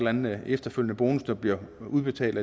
anden efterfølgende bonus der er blevet udbetalt